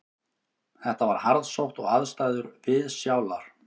Þetta var harðsótt og aðstæður viðsjálar